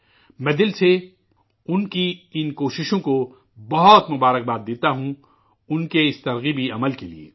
میں دل سے ان کی کوششوں کو بہت مبارکباد دیتا ہوں، انکے اس قابل ترغیب کام کے لیے